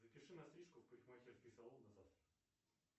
запиши на стрижку в парикмахерский салон на завтра